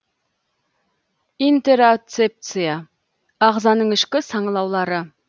интероцепция ағзаның ішкі саңылаулары